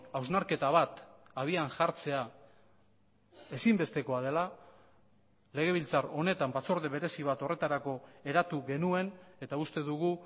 hausnarketa bat abian jartzea ezinbestekoa dela legebiltzar honetan batzorde berezi bat horretarako eratu genuen eta uste dugu